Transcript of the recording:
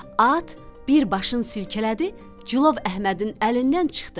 At bir başın silkələdi, cilov Əhmədin əlindən çıxdı.